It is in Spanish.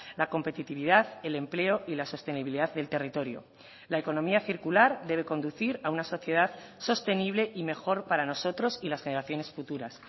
la competitividad el empleo y la sostenibilidad del territorio la economía circular debe conducir a una sociedad sostenible y mejor para nosotros y las generaciones futuras